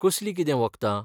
कसलीं कितें वखदां?